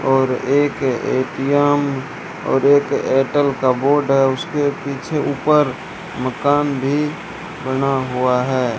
और एक ए_टी_एम और एक एयरटेल का बोर्ड है उसके पीछे ऊपर मकान भी बना हुआ है।